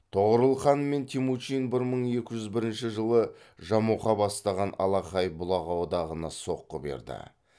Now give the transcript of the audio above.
тоғорыл хан мен темучин бір мың екі жүз бірінші жылы жамұқа бастаған алақай бұлақ одағына соққы берді